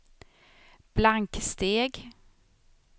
blanksteg